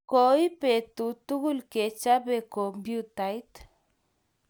Ko ip betut Tugul ke chape kompuyutait